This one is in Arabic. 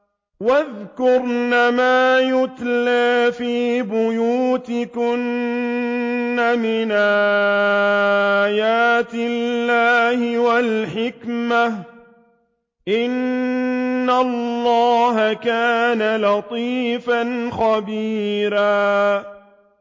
وَاذْكُرْنَ مَا يُتْلَىٰ فِي بُيُوتِكُنَّ مِنْ آيَاتِ اللَّهِ وَالْحِكْمَةِ ۚ إِنَّ اللَّهَ كَانَ لَطِيفًا خَبِيرًا